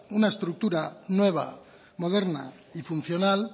una estructura nueva moderna y funcional